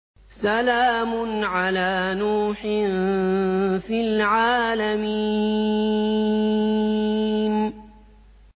سَلَامٌ عَلَىٰ نُوحٍ فِي الْعَالَمِينَ